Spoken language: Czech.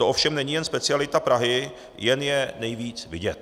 To ovšem není jen specialita Prahy, jen je nejvíc vidět.